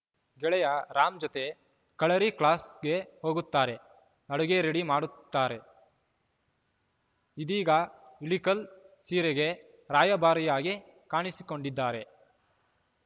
ಗೆಳೆಯ ರಾಮ್‌ ಜೊತೆ ಕಳರಿ ಕ್ಲಾಸ್‌ಗೆ ಹೋಗುತ್ತಾರೆ ಅಡುಗೆ ರೆಡಿ ಮಾಡುತ್ತಾರೆ ಇದೀಗ ಇಳಿ ಕಲ್‌ ಸೀರೆಗೆ ರಾಯಭಾರಿಯಾಗಿ ಕಾಣಿಸಿಕೊಂಡಿದ್ದಾರೆ